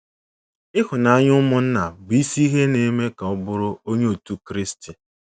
Ịhụnanya ụmụnna bụ isi ihe na-eme ka ọ bụrụ Onye Otú Kristi.